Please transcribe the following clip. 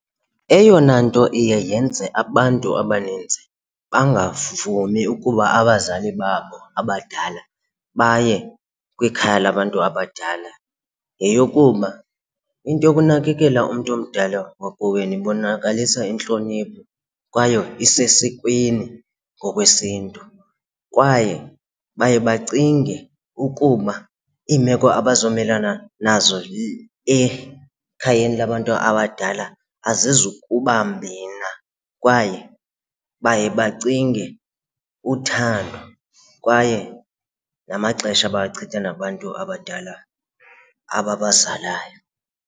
Eyona nto iye yenze abantu abaninzi bangavumi ukuba abazali babo abadala baye kwikhaya labantu abadala yeyokuba into yokunakekela umntu omdala wakowenu ibonakalisa intlonipho kwaye esesikweni ngokwesiNtu kwaye baye bacinge ukuba iimeko abazomelana nazo ekhayeni labantu abadala azizukuba mbi na. Kwaye baye bacinge uthando kwaye namaxesha abawachitha nabantu abadala ababazalayo.